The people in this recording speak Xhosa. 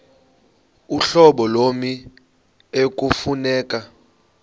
uhlobo lommi ekufuneka